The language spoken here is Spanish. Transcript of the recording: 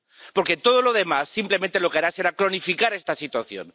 Porque todo lo demás, simplemente, lo que hará será cronificar esta situación.